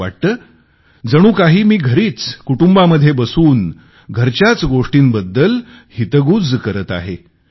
असे वाटते जणू काही मी घरीच कुटुंबामध्ये बसून घरच्याच गोष्टींबद्दल हितगूज करत आहे